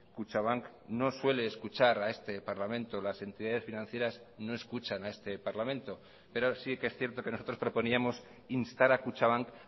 kutxabank no suele escuchar a este parlamento las entidades financieras no escuchan a este parlamento pero sí que es cierto que nosotros proponíamos instar a kutxabank